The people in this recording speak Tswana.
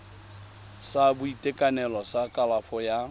sa boitekanelo sa kalafo ya